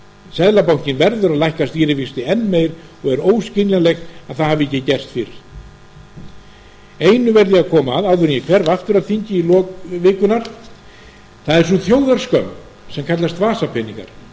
seðlabankinn verður að lækka stýrivexti enn meir og er óskiljanlegt að það hafi ekki gerst fyrr einu verð ég að koma að áður en ég fer aftur að þingi í lok vikunnar það er sú þjóðarskömm sem kallast vasapeningar